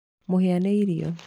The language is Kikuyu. Mũhĩa nĩ irio.